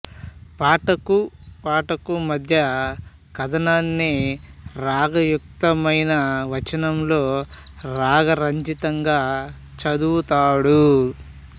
పాటకూ పాటకూ మధ్య కాథనాన్ని రాగ యుక్త మైన వచనంలో రాగ రంజితంగా చదువుతాడు